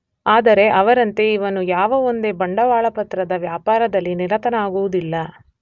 ಆದರೆ ಅವರಂತೆ ಇವನು ಯಾವ ಒಂದೇ ಬಂಡವಾಳಪತ್ರದ ವ್ಯಾಪಾರದಲ್ಲಿ ನಿರತನಾಗುವುದಿಲ್ಲ.